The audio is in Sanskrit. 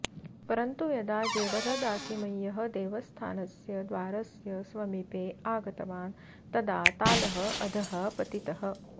परन्तु यदा जेडरदासिमय्यः देवस्थानस्य द्वारस्य समीपे आगतवान् तदा तालः अधः पतितः